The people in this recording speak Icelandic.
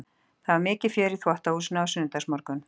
Það var mikið fjör í þvottahúsinu á sunnudagsmorgnum.